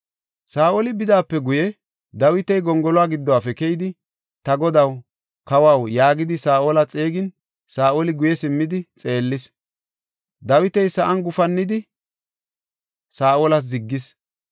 Saa7oli bidaape guye, Dawiti gongoluwa giddofe keyidi, “Ta godaw, kawaw” yaagidi Saa7ola xeegin, Saa7oli guye simmidi xeellis. Dawiti sa7an gufannidi Saa7olas ziggis.